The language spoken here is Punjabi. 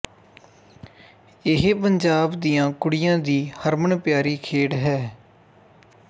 ਇਹ ਪੰਜਾਬ ਦੀਆਂ ਕੁੜੀਆਂ ਦੀ ਹਰਮਨ ਪਿਆਰੀ ਖੇਡ ਹੈ